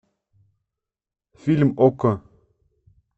фильм окко